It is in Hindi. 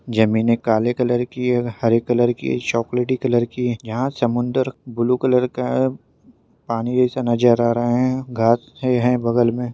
जमीने काले कलर की है हरे कलर की है चॉकलेटी कलर की है यहा समुन्दर ब्लू कलर का है पानी जैसा नजर आ रहा है घास है बगल मे।